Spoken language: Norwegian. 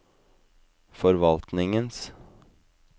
forvaltningens